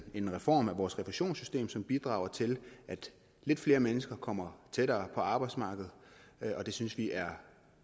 en reform af vores refusionssystem som bidrager til at lidt flere mennesker kommer tættere på arbejdsmarkedet og det synes vi er